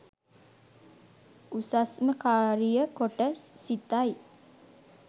උසස්ම කාරිය කොට සිතයි